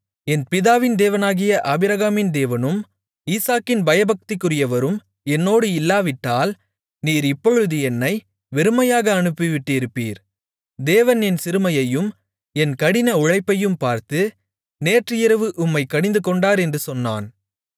என் பிதாவின் தேவனாகிய ஆபிரகாமின் தேவனும் ஈசாக்கின் பயபக்திக்குரியவரும் என்னோடு இல்லாவிட்டால் நீர் இப்பொழுது என்னை வெறுமையாக அனுப்பிவிட்டிருப்பீர் தேவன் என் சிறுமையையும் என் கடின உழைப்பையும் பார்த்து நேற்று இரவு உம்மைக் கடிந்துகொண்டார் என்று சொன்னான்